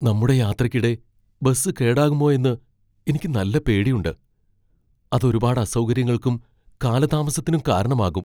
നമ്മുടെ യാത്രയ്ക്കിടെ ബസ് കേടാകുമോയെന്ന് എനിക്ക് നല്ല പേടിയുണ്ട് , അത് ഒരുപാട് അസൗകര്യങ്ങൾക്കും കാലതാമസത്തിനും കാരണമാകും.